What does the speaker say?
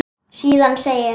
Síðan segir